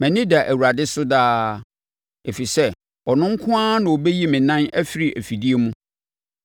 Mʼani da Awurade so daa, ɛfiri sɛ ɔno nko ara na ɔbɛyi me nan afiri afidie mu.